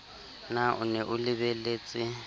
na o ne o lebelletse